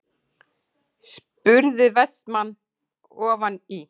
spurði Vestmann ofan í.